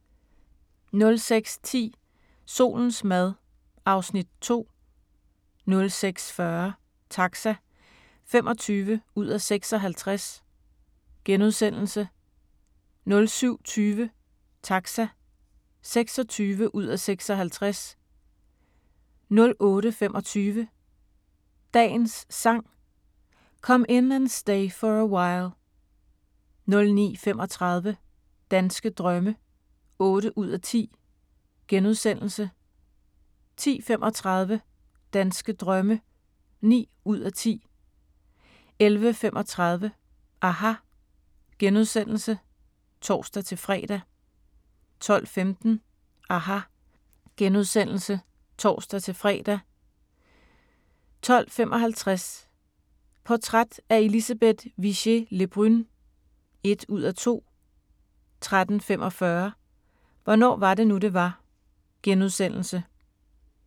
06:10: Solens mad (Afs. 2) 06:40: Taxa (25:56)* 07:20: Taxa (26:56) 08:25: Dagens Sang: Come In And Stay For A While 09:35: Danske drømme (8:10)* 10:35: Danske drømme (9:10) 11:35: aHA! *(tor-fre) 12:15: aHA! *(tor-fre) 12:55: Portræt af Elisabeth Vigée Le Brun (1:2) 13:45: Hvornår var det nu, det var? *